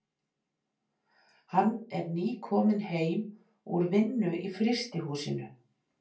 Hann er nýkominn heim úr vinnu í frystihúsinu.